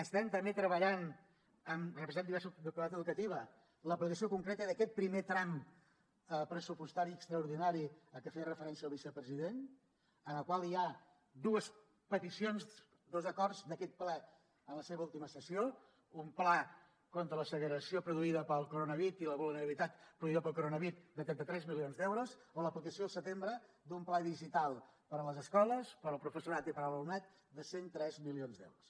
estem també treballant amb representants de diversos de la comunitat educativa l’aplicació concreta d’aquest primer tram pressupostari extraordinari a què feia referència el vicepresident en el qual hi ha dues peticions dos acords d’aquest ple en la seva última sessió un pla contra la segregació produïda pel coronavid i la vulnerabilitat produïda pel coronavirus de trenta tres milions d’euros o l’aplicació al setembre d’un pla digital per a les escoles per al professorat i per a l’alumnat de cent i tres milions d’euros